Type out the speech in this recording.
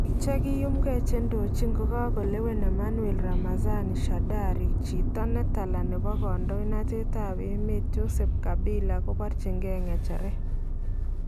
Biiik chekiyumkee chendochin kokalewen Emmanuel Ramazani Shadary, chito netala nebo kandoindetab emeet Joseph Kabila kobarchikee ngecheret